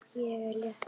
Ég er létt.